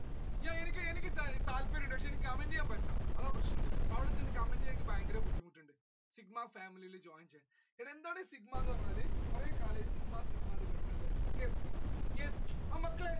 എനി~എനിക്ക് താല്പര്യമുണ്ട് പക്ഷെ എനിക്ക് comment ചെയ്യാൻ പറ്റില്ല അതാ പ്രശ്നം അവിടെ ചെന്ന് comment ചെയ്യാൻ എനിക്ക് ഭയങ്കര ബുദ്ധിമുട്ടുണ്ട് എന്താണ് sigma എന്ന് പറഞ്ഞാൽ കുറെ കാലമായി okay yes മക്കളെ